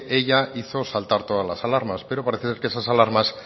ella hizo saltar todas las alarmas pero parece ser que esas alarmas